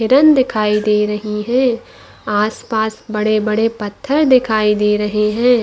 हिरन दिखाई दे रही है आस - पास बड़े - बड़े पत्थर दिखाई दे रहे है।